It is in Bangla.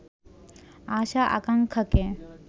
আশা-আকাঙ্ক্ষাকে